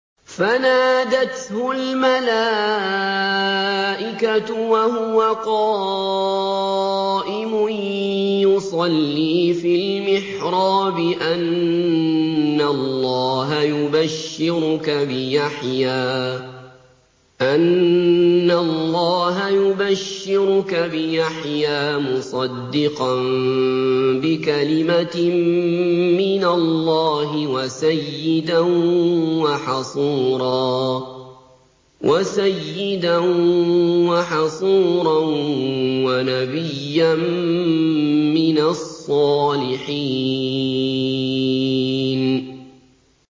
فَنَادَتْهُ الْمَلَائِكَةُ وَهُوَ قَائِمٌ يُصَلِّي فِي الْمِحْرَابِ أَنَّ اللَّهَ يُبَشِّرُكَ بِيَحْيَىٰ مُصَدِّقًا بِكَلِمَةٍ مِّنَ اللَّهِ وَسَيِّدًا وَحَصُورًا وَنَبِيًّا مِّنَ الصَّالِحِينَ